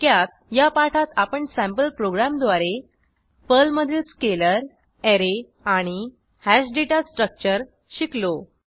थोडक्यात या पाठात आपण सँपल प्रोग्रॅमद्वार पर्लमधील स्केलर ऍरे आणि हॅश डेटा स्ट्रक्चर शिकलो